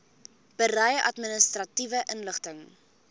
berei administratiewe inligting